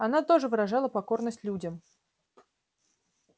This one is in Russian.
она тоже выражала покорность людям